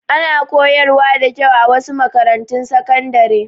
Ana koyarwa da kyau a wasu makarantun sakandare.